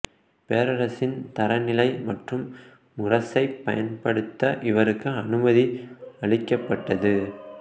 பேரரசரின் தரநிலை மற்றும் முரசைப் பயன்படுத்த இவருக்கு அனுமதி அளிக்கப்பட்டது